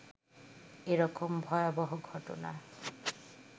এ রকম ভয়বহ ঘটনা